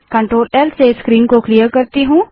उससे पहले मैं CTRLL से स्क्रीन को क्लिअर करती हूँ